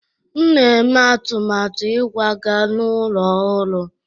M na-eme atụmatụ ịkwaga n'ụlọ ọhụrụ.